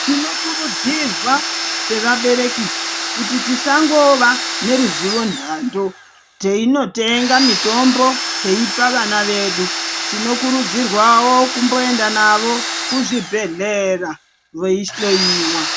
Tinokurudzirwa sevabereki kuti tisangova neruzivo nhando teinotenga mitombo teipa vana vedu tinokurudzirwawo kumboenda navo kuzvibhehleya veihloyiwa.